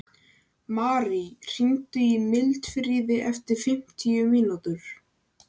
Marí, hringdu í Mildfríði eftir fimmtíu mínútur.